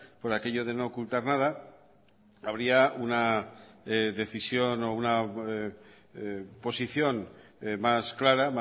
por aquello de no ocultar nada habría una decisión o una posición mas clara